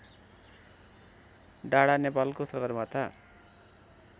डाढा नेपालको सगरमाथा